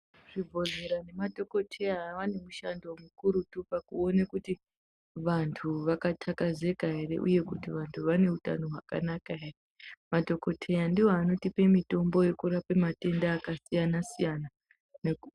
Zvi bhodhlera ne madhokodheya vane mushando mukurutu paku one kuti vantu vaka takazeka ere uye kuti vantu vane utano hwaka naka ere madhokodheya ndiwo anotipe mitombo yeku rape matenda aka siyana siyana neku.